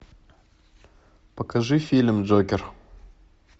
покажи фильм джокер